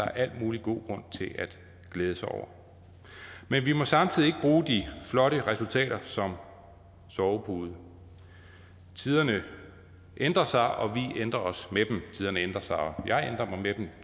er al mulig god grund til at glæde sig over men vi må samtidig ikke bruge de flotte resultater som sovepude tiderne ændrer sig og vi ændrer os med dem tiderne ændrer sig og jeg ændrer mig med dem